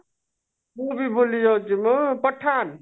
ମୁଁ ବି ଭୁଲି ଯାଉଛି ମ ପଠାନ